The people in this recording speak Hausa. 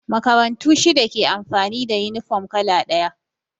Makarantu shida ke amfani da yunifom kala ɗaya